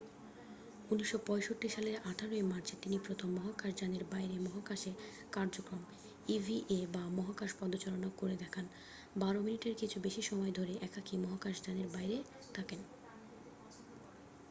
"১৯৬৫ সালের ১৮ মার্চে তিনি প্রথম মহাকাশযানের বাইরে মহাকাশে কার্যক্রম ইভিএ বা "মহাকাশ পদচারণা" করে দেখান বারো মিনিটের কিছু বেশি সময় ধরে একাকী মহাকাশযানের বাইরে থাকেন।